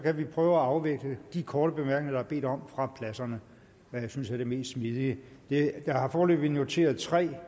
kan vi prøve at afvikle de korte bemærkninger der er bedt om fra pladserne hvad jeg synes er det mest smidige jeg har foreløbig noteret tre